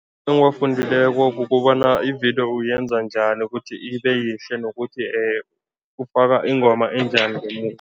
Engiwafundileko kukobana ividiyo uyenza njani ukuthi ibe yihle nokuthi ufaka ingoma enjani ngemuva.